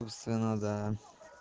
собственно да